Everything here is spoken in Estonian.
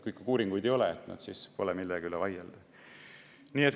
Kui ikka uuringuid ei ole, siis pole millegi üle vaielda.